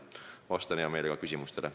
Vastan hea meelega küsimustele.